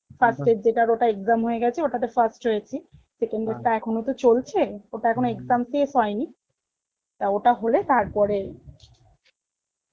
first এর যেটার other exam হয়ে গেছে ওটাতে first হয়েছি এর টা এখন ও তো চলছে, অতার এখনো exam শেষ হয়েনি, টা ওটা হলে তার পরে